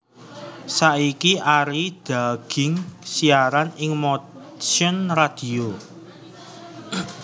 Saiki Arie Dagienkz siaran ing Motion Radio